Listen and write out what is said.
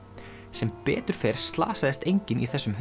sem betur fer slasaðist enginn í þessum